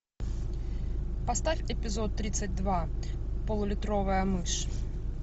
поставь эпизод тридцать два пол литровая мышь